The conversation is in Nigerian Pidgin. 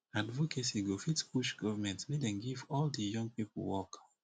advocacy go fit push government make dem give all de young pipo work